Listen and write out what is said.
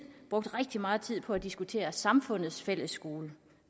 brugt rigtig meget tid på at diskutere samfundets fællesskole og